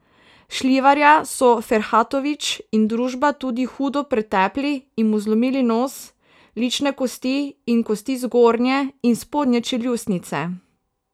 Šljivarja so Ferhatović in družba tudi hudo pretepli in mu zlomili nos, lične kosti in kosti zgornje in spodnje čeljustnice.